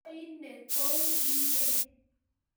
Koi inne kou innye